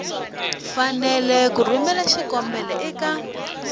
fanele ku rhumela xikombelo eka